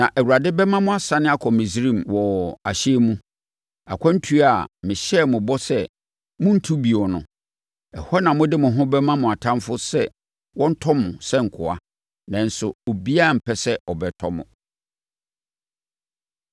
Na Awurade bɛma mo asane akɔ Misraim wɔ ahyɛn mu, akwantuo a mehyɛɛ mo bɔ sɛ morentu bio no. Ɛhɔ na mode mo ho bɛma mo atamfoɔ sɛ wɔntɔ mo sɛ nkoa, nanso obiara rempɛ sɛ ɔbɛtɔ mo.